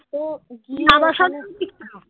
তো গিয়ে